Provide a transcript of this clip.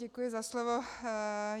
Děkuji za slovo.